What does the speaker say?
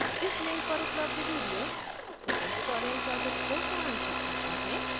इस link पर उपलब्ध video spoken tutorial project को सारांशित करता है